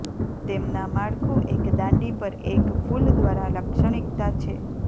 તેમના માળખું એક દાંડી પર એક ફૂલ દ્વારા લાક્ષણિકતા છે